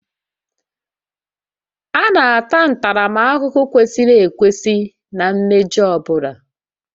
A na-ata ntaramahụhụ kwesịrị ekwesị na mmejọ ọ bụla